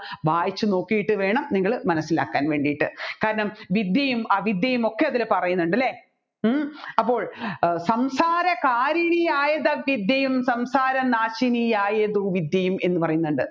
വായിച്ച് നോക്കിയിട്ട് വേണം നിങ്ങൾ മനസ്സിലാക്കാൻ വേണ്ടിയിട്ട് കാരണം വിദ്യയും അവിദ്യയും ഒക്കെ അതിൽ പറയുന്നുണ്ട് അല്ലെ ഉം അപ്പോൾ സംസാരകാരിണിയായതവിദ്യയും സംസാരനാശിനിയായതുവിദ്യയും